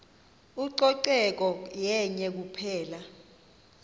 ucoceko yenye kuphela